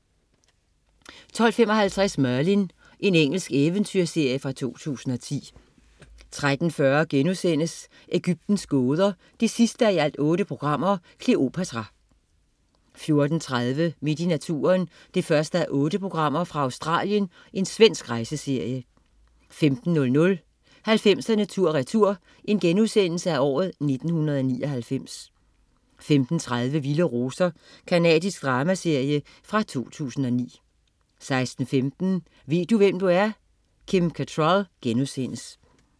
12.55 Merlin. Engelsk eventyrserie fra 2010 13.40 Egyptens gåder 8:8. Kleopatra* 14.30 Midt i naturen 1:8. Australien. Svensk rejseserie 15.00 90'erne tur retur: 1999* 15.30 Vilde roser. Canadisk dramaserie fra 2009 16.15 Ved du hvem du er? Kim Cattrall*